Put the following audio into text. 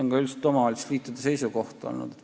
See on üldiselt ka omavalitsusliitude seisukoht olnud.